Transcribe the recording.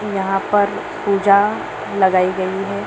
यहां पर पूजा लगाई गई है।